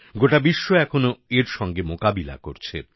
গোটা বিশ্ব এখনো এর সঙ্গে মোকাবিলা করছে